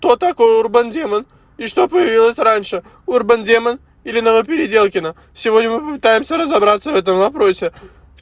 кто такой урбан демон и что появилось раньше урбан демон или новопеределкино сегодня мы по пытаемся разобраться в этом вопросе